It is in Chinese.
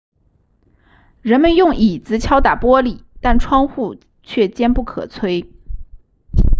人们用椅子敲打玻璃但窗户却坚不可摧